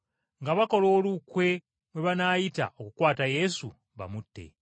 nga bakola olukwe mwe banaayita okukwata Yesu bamutte.